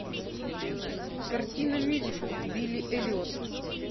картина мюзикл билли эллиот